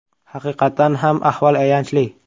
Haqiqatan ham ahvol ayanchli.